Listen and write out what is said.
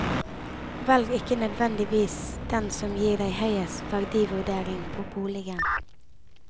Velg ikke nødvendigvis den som gir deg høyest verdivurdering på boligen.